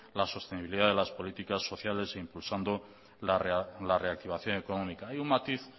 la sostenibilidad de las políticas sociales e impulsando la reactivación económica hay un matiz